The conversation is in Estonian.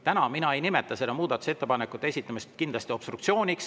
Täna mina kindlasti ei nimeta muudatusettepanekute esitamist obstruktsiooniks.